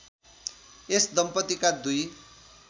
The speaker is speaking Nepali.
यस दम्पतिका दुई